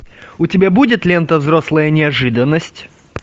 у тебя будет лента взрослая неожиданность